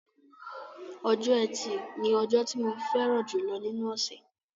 Ọjọ́ ẹtì ni ọjọ́ tí mo fẹ́ràn jùlọ nínú ọ̀ṣẹ̀